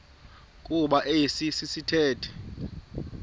kuba esi sithethe